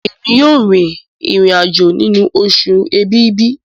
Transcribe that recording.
Èmi yóò rìn irin-ajo nínú Oṣù Ẹ̀bìbì.